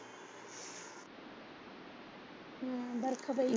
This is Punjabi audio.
ਹਮ ਵਰਖਾ ਪਈ।